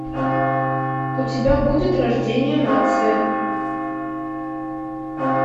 у тебя будет рождение нации